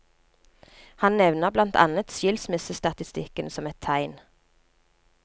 Han nevner blant annet skilsmissestatistikken som et tegn.